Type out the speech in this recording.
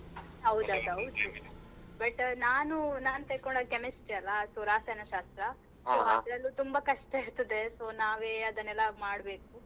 ಹೌದು but ನಾನು ನಾನ್ ತಕೊಂಡಿದ್ chemistry ಅಲ್ಲ ರಸಾಯನ ಶಾಸ್ತ್ರ. ಅದ್ರಲ್ಲಿ ತುಂಬಾ ಕಷ್ಟ ಇರ್ತದೆ so ನಾವೇ ಅದನ್ನೆಲ್ಲಾ ಮಾಡ್ಬೇಕು.